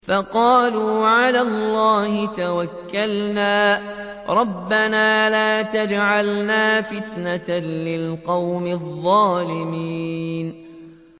فَقَالُوا عَلَى اللَّهِ تَوَكَّلْنَا رَبَّنَا لَا تَجْعَلْنَا فِتْنَةً لِّلْقَوْمِ الظَّالِمِينَ